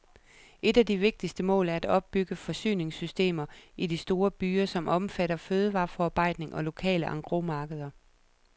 Et af de vigtigste mål er at opbygge forsyningssystemer i de store byer, som omfatter fødevareforarbejdning og lokale engrosmarkeder.